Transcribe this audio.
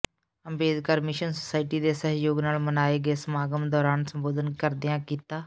Ambedkar mission society ਦੇ ਸਹਿਯੋਗ ਨਾਲ ਮਨਾਏ ਗਏ ਸਮਾਗਮ ਦੌਰਾਨ ਸੰਬੋਧਨ ਕਰਦਿਆਂ ਕੀਤਾ